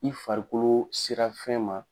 I farikolo sera fɛn ma